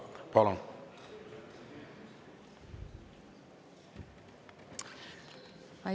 Palun!